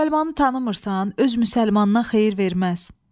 Müsəlmanı tanımırsan, öz müsəlmandan xeyir verməz.